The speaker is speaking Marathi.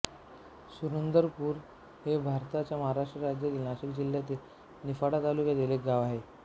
सुंदरपूर हे भारताच्या महाराष्ट्र राज्यातील नाशिक जिल्ह्यातील निफाड तालुक्यातील एक गाव आहे